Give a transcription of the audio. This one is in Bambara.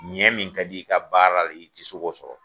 Ɲɛ min ka d'i ye i ka baara la i te se k'o sɔrɔ